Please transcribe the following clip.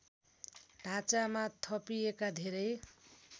ढाँचामा थपिएका धेरै